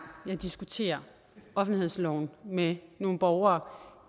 jeg diskuterer offentlighedsloven med nogle borgere